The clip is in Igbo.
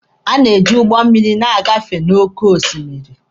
Ha na-eji ụgbọ mmịrị agafe n'oke osimiri.